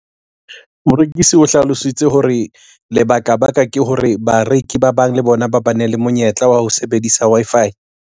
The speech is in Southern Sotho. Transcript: Morekisi o hlalositse hore lebaka baka ke hore bareki ba bang le bona ba bane le monyetla wa ho sebedisa Wi-Fi.